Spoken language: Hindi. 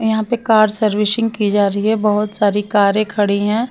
यहाँ पे कार सर्विशिंग की जा रही है बहुत सारी कारें खड़ी हैं।